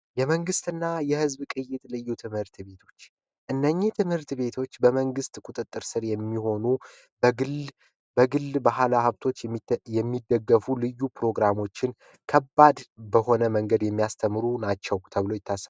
የመንግስትና የህዝብ ልዩ ቅይጥ ትምህርት ቤቶች እነዚህ ትምህርት ቤቶች በመንግስት ቁጥጥር ስር የሚሆኑ ፤ በግል ባለሃብቶች የሚደገፉ ልዩ ፕሮግራሞችን ከባድ በሆነ መንገድ የሚያስተምሩ ናቸው ተብሎ ይታሰባል።